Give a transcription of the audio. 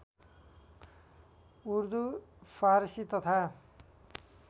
उर्दू फारसी तथा